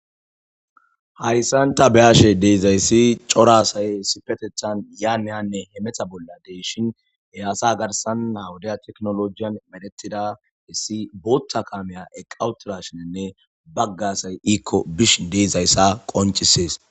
Haysan ta beashe deezayssi corasay sipetethan yaamiyanne he metha bolla deyshin heaasa garsan nawudaa teknolojiyan medetida issi bootha kaameya eqqawuturashinenne baggasay iikko bish deezayssa qoncisees